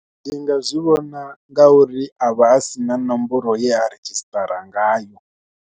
Ndi nga zwi vhona ngauri a vha a si na nomboro ye a redzhisṱara ngayo.